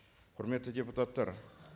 құрметті депутаттар